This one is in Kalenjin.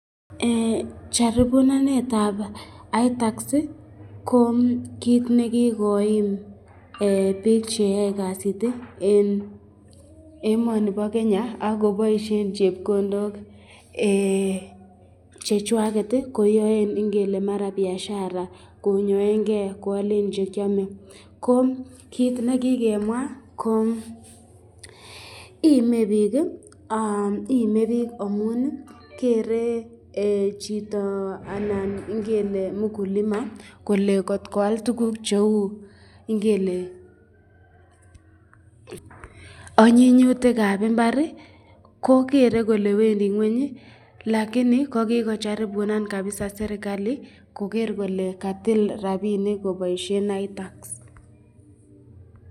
Jaribunanetab itax ko kit ne kigoim biik che yoe kasit en emoni bo Kenya ak koboisien chepkondok chechwaget koyoen mara biashara konyoenge, koalen che kyome. Ko kiit nekikemwa ko ime biik amun kere chito anan ngele mkulima kole kotko al tuguk cheu ngele onyinyutik ab mbar, kogere kole wendi ng'weny lakini ko kigojaribunan kabisa serkalit koger kle katil rabinik koboisien itax